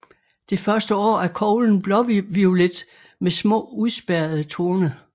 Det første år er koglen blåviolet med små udspærrede torne